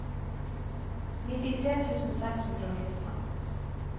nittitre tusen seks hundre og nittifem